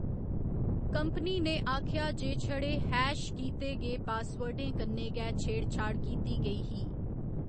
Company ने आखेआ जे छड़े हैश कीते गे पासवर्डें कन्नै गै छेड़ छाड़ कीती गेई ही।